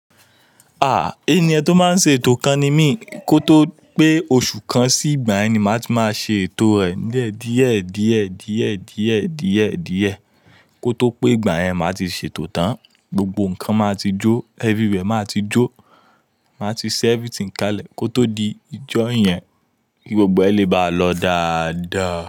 Ah! Ènìyàn tí ó máa ń ṣe ètò kan ni mi, kò tó pé oṣù kan sí ìgbà yẹn, ma ti ma ṣe ètò rẹ̀ diyẹ, diyẹ, diyẹ, diyẹ, diyẹ, diyẹ, diyẹ. Kò tó pé ìgbà yẹn, ma ti ṣètò tán, gbogbo nkan ma ti jo, everywhere ma ti jo, ma ti ṣe everything kalẹ̀, kò tó di ìjọ yẹn, gbogbo ẹ̀ lè báa lọ dada.